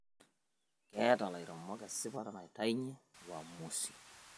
Keeta lairemok esipa naitainyie uamusi